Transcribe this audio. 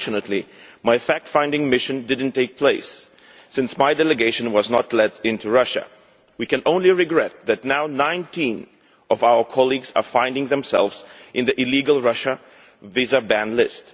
Unfortunately, my fact finding mission did not take place, since my delegation was not let into Russia. We can only regret that now, 19 of our colleagues find themselves on the illegal Russian visa ban list.